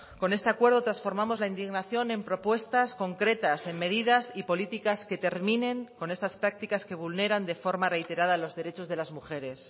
con este acuerdo transformamos la indignación en propuestas concretas en medidas y políticas que terminen con estas prácticas que vulneran de forma reiterada los derechos de las mujeres